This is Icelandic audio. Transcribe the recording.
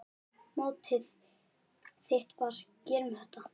Mottóið þitt var: Gerum þetta!